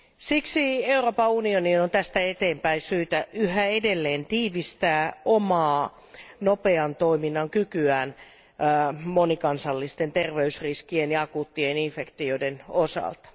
Siksi Euroopan unionin on tästä eteenpäin syytä yhä edelleen tiivistää omaa nopean toiminnan kykyään monikansallisten terveysriskien ja akuuttien infektioiden osalta.